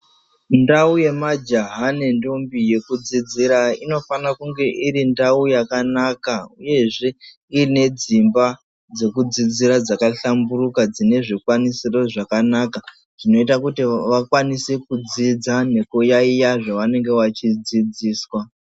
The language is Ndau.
Mundau yemajaha nendombi yekudzidzira, inofana kunge iri ndau yakanaka, uyezve iine dzimba dzekudzidzira dzaka hlamburuka dzine zvikwanisiro zvakanaka, zvinoita kuti vakwanise kudzidza nekuyaiya zvevanenge vachidzidzswa.